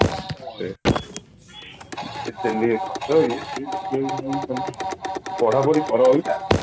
ସେୟା ଏମିତି ଖର୍ଚ ହେଇକି ପଢାପଢି କର ଅବିକା